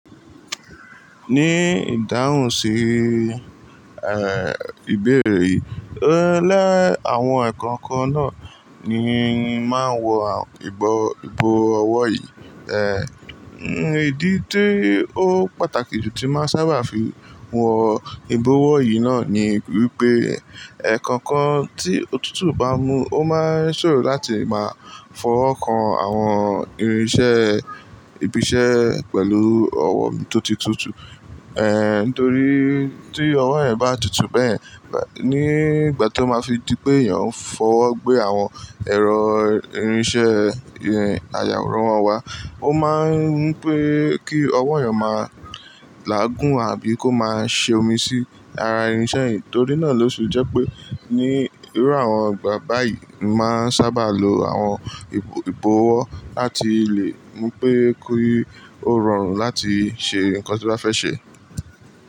Ní ìdáhùn sí, ìbéèrè rẹ, lé àwọn ẹ̀kọ̀kan náà ni a máa ń wọ ìbọ̀wọ́ yìí. Ìdí tí ó pàtàkì jù tí máa sábà fi wọ ìbọ̀wọ́ yìí náà ni wípé ẹ̀kọ̀kan tí òtútù bá mu, ó máa ń ṣòro láti máa fọwọ́ kan àwọn irinṣẹ́, ibiṣẹ́ pẹ̀lú ọwọ́ tó ti tutù. Eh, nítorí tí ọwọ́ rẹ̀ bá tutù bẹ́ẹ̀, nígbà tó máa fi di pé èèyàn ń fọwọ́ gbé àwọn ẹ̀rọ irinṣẹ́, ayàwòrán wá, ó máa ń pẹ́ kí ọwọ́ èèyàn máa làágùn àbí kó máa ṣe omi sí ara irinṣẹ́ yìí. Nítorí náà ló ṣe jẹ́ pé ní irú àwọn ìgbà báyìí, a máa ń sábà lo àwọn ìbọ̀wọ́ láti lè mú pé kí ó rọrùn láti ṣe nǹkan tí ó bá fẹ́ ṣe.